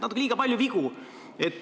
Natuke liiga palju vigu.